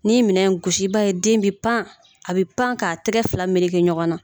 N'i ye minɛ gosi i b'a ye den bɛ pan a bɛ pan k'a tɛgɛ fila meleke ɲɔgɔn na